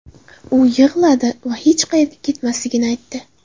U yig‘ladi va hech qayerga ketmasligini aytdi.